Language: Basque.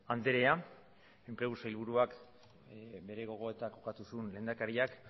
andrea enplegu sailburuak bere gogoetak lehendakariak